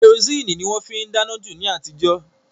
Kẹrosíìnì ni wọ́n á fi dáná jù ni àtijọ́